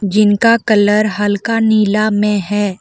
जिनका कलर हल्का नीला में है।